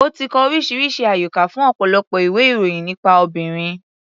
Ó ti kọ oríṣiríṣi àyọkà fún ọ̀pọ̀lọpọ̀ ìwé-ìròyìn nípa obìnrin.